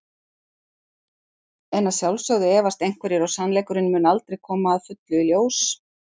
En að sjálfsögðu efast einhverjir og sannleikurinn mun aldrei koma að fullu í ljós.